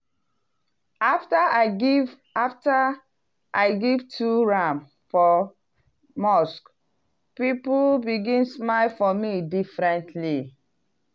after i give after i give two ram for mosque people begin smile for me differently.